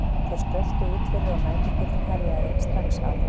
Þeir skröltu út fyrir og næturkuldinn herjaði strax á þá.